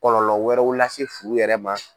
Kɔlɔlɔ wɛrɛw lase furu yɛrɛ ma.